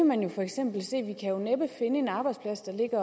man kan næppe finde en arbejdsplads der ligger